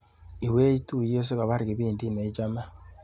Iwech chupet sikopar kipindit neichame.